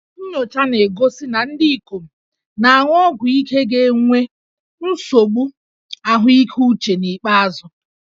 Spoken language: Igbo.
Nnyocha na-egosi na ndị ikom na-aṅụ ọgwụ ike ga-enwe nsogbu ahụike uche n'ikpeazụ